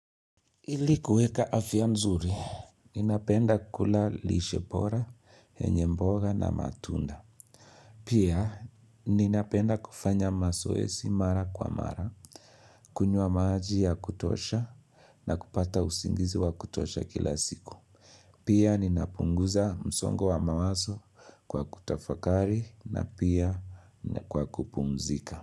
Ili kueka afya nzuri, ninapenda kula lishe bora, yenye mboga na matunda. Pia ninapenda kufanya mazoezi mara kwa mara, kunywa maji ya kutosha na kupata usingizi wa kutosha kila siku. Pia ninapunguza msongo wa mawazo kwa kutafakari na pia kwa kupumzika.